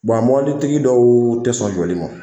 a mɔbilitigi dɔw ti sɔn jɔli ma.